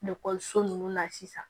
Ekɔliso ninnu na sisan